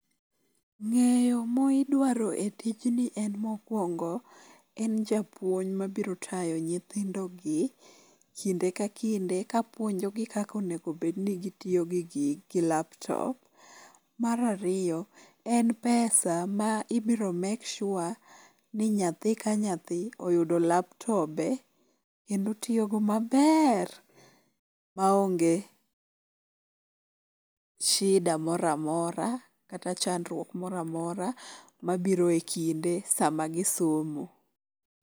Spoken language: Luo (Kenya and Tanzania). Ng'eyo ma idwaro e tijni en mokwongo en japuonj mabiro tayo nyithindogi kinde ka kinde kapuonjogi kaka onego bed ni gitiyo gi gigi, gi laptop. Mar ariyo, en pesa ma ibiro make sure ni nyathi ka nyathi oyudo laptobe kendo otiyogo maber maonge shida moramora kata chandruok mora mora mabiro e kinde sama gisomo.